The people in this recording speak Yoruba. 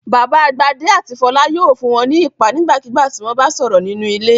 Bàbá Gbadé àti Fọlá yóò fún wọn ní iìpá nígbàkigbà tí wọ́n bá sọ̀rọ̀ nínú ilé.